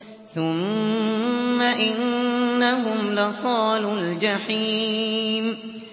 ثُمَّ إِنَّهُمْ لَصَالُو الْجَحِيمِ